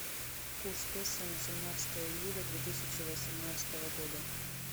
курс песо на семнадцатое июля две тысячи восемнадцатого года